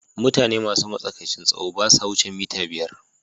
Mutane masu matsakaicin tsawo ba sa wuce mita biyar.